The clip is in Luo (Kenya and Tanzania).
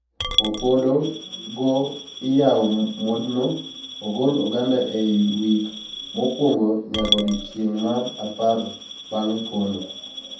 Opodo go iyawo modno ogol oganda eiy wik mokwongo nyaka odiecheng mar apar bang pono.